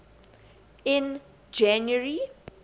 in january